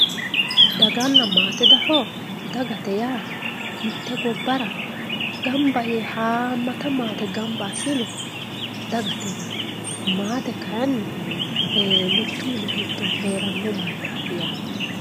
daganna maate dafoo dagate yaa mitte gobbara gamba yee haammata maate gamba assine dagate yinayi maate kayeenni mittu mini giddo heeranno mannaati yaate